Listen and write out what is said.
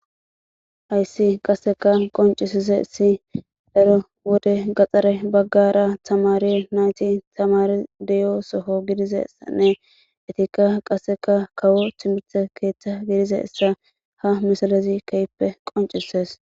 Haysi qaseka qoncisizaysi ha' wode gadhare bagara tamare nayti tamare de'o soho gidizaysanne etika qase kawo timirte ketha de'izaysa ha misilezi kehipe qoncises